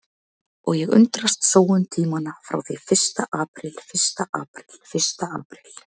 Og ég undrast sóun tímanna frá því fyrsta apríl fyrsta apríl fyrsta apríl.